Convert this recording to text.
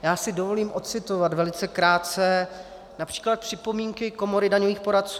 Já si dovolím ocitovat velice krátce například připomínky Komory daňových poradců.